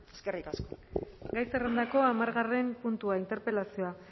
eskerrik asko mendia andrea gai zerrendako hamargarren puntua interpelazioa